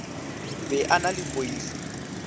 be a na le poifo